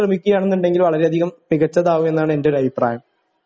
ശ്രമിക്കുകയാണെന്നുണ്ടെങ്കില് വളരെ അധികം മികച്ചതാകുമെന്നാണ് എന്റെ ഒരു അഭിപ്രായം